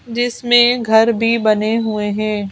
जिसमें घर भी बने हुए हैं।